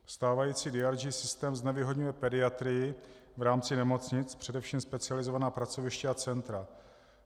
Stávající DRG systém znevýhodňuje pediatry v rámci nemocnic, především specializovaná pracoviště a centra.